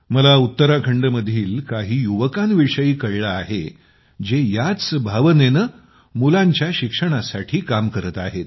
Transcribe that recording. मला उत्तराखंडमधील काही युवकांविषयी कळले आहे जे याच भावनेने मुलांच्या शिक्षणासाठी काम करत आहेत